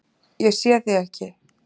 Ég sé þig ekki.